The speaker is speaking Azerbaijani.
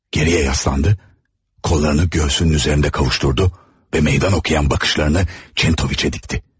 Geriyə yaslandı, qollarını döşünün üzərində qovuşdurdu və meydan oxuyan baxışlarını Kentoviçə dikdi.